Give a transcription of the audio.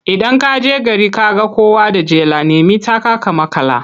Idan ka je gari ka ga kowa da jela, nemi taka ka maƙala.